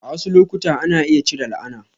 A wasu lokuta, ana iya cire la'ana.